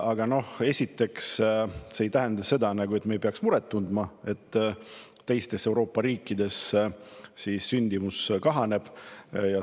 Aga see ei tähenda, esiteks, seda, et me ei peaks muret tundma, et teistes Euroopa riikides sündimus kahaneb.